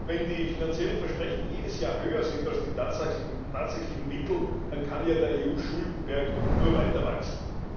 Wenn die finanziellen Versprechen jedes Jahr höher sind als die tatsächlichen Mittel, dann kann ja der EU Schuldenberg nur weiter wachsen.